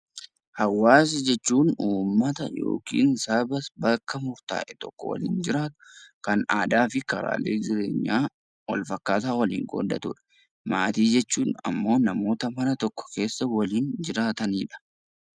Hawaasa jechuun hawaasa yookiin saba bakka murtaa'e tokko waliin jiraatu kan aadaa fi karaalee jireenyaa wal fakkaataa waliin qooddatudha. Maatii jechuun immoo namoota maatii mana tokko keessa waliin jiraatanidha.